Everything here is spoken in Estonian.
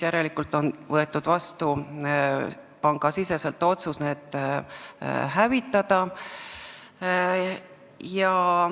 Järelikult on pangasiseselt võetud vastu otsus need hävitada.